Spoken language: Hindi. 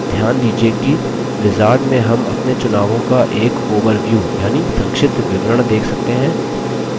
अब ध्यान दीजिये कि wizard में हम अपने चुनावों का एक overview यानि संक्षिप्त विवरण देख सकते हैं